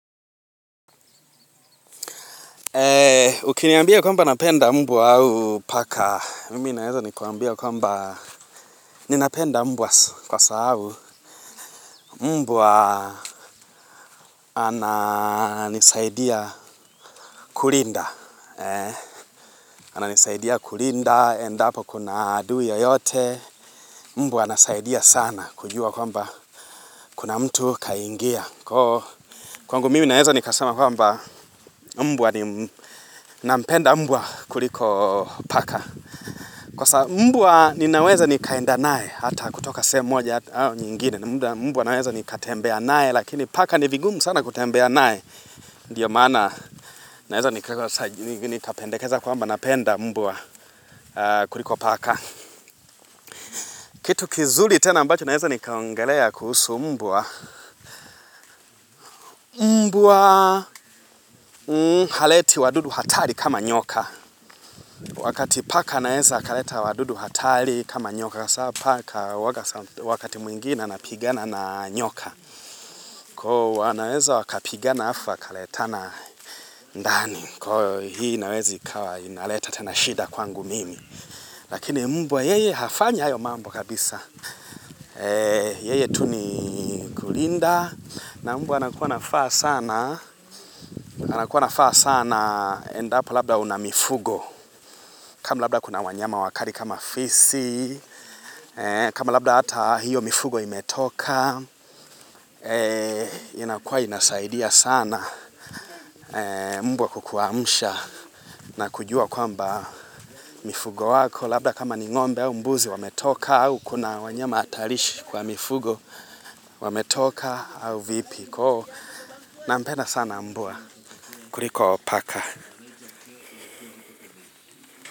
Ukiniambia kwamba napenda mbwa au paka Mimi naweza nikuambia kwamba ninapenda mbwa kwa sababu mbwa ananisaidia kulinda ananisaidia kulinda endapo kuna adui yeyote mbwa anasaidia sana kujua kwamba kuna mtu kaingia Kwangu mimi Naweza nikasema kwamba mbwa nim nampenda mbwa kuliko paka kwa sa mbwa ninaweza nikaenda nae, hata kutoka sehemu, moja au nyingine. Mbwa Naweza nikatembea nae, lakini paka nivingumu sana kutembea nae. Ndiyo maana, naweza nikapendekeza kwamba napenda mbwa kuliko paka. Kitu kizuri tena ambacho, naweza nikaongelea kuhusu mbwa. Mbwa haleti wadudu hatari kama nyoka. Wakati paka, naweza kaleta wadudu hatari kama nyoka. Kasa paka wakati mwingine, napigana na nyoka. Ko wanaweza wakapiga na alafu kaletana ndani. Kwa hii inawezi kawa inaleta tena shida kwangu mimi. Lakini mbwa yeye hafanya hayo mambo kabisa. Yeye tuni kulinda. Na mbwa anakuwa nafaa sana. Anakuwa nafaa sana. Endapo labda una mifugo. Kama labda kuna wanyama wakali kama fisi. Kama labda hata hiyo mifugo imetoka. Inakuwa inasaidia sana. Mbwa kukuamusha na kujua kwamba mifugo wako, labda kama ni ngombe au mbuzi wametoka au, kuna wanyama hatalishi kwa mifugo wametoka au vipi na mpenda sana mbwa kuliko paka.